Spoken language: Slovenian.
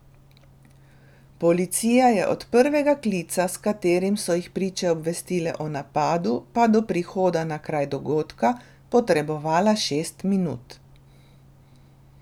Policija je od prvega klica, s katerim so jih priče obvestile o napadu, pa do prihoda na kraj dogodka, potrebovala šest minut.